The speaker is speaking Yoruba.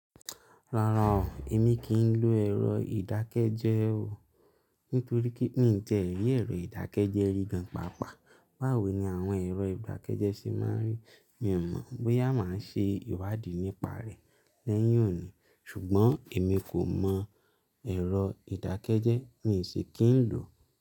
Rárá o, èmi kí ń lo ẹ̀rọ ìdákẹ́jẹ́ o, nítorí pé mí tiẹ́ ri èrò ìdákẹ́jẹ́ rí gan papà. Báwo ni àwọn ẹ̀rọ ìdákẹ́jẹ́ ṣe máa ń rí? Mi ò mọ̀ bóyá màá ṣe ìwádìí nípa rẹ̀ lẹ́yìn òní, ṣùgbọ́n èmi kò mọ ẹ̀rọ ìdákẹ́jẹ́, mí sì kí ń lò ó.